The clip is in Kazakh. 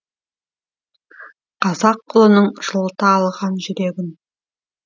қазақ ұлының жылыта алған жүрегін